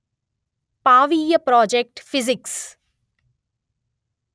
పావీయా project physics